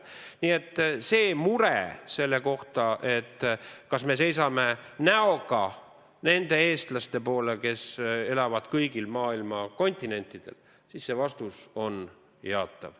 Nii et murelik küsimus selle kohta, kas me seisame näoga nende eestlaste poole, kes elavad mujal maailmas, saab jaatava vastuse.